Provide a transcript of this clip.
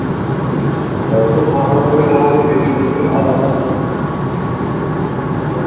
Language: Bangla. অটো ফাঁকা পরিবেশ আমাদেরকে বেশি বেশিক্ষন ভালো লাগবে না .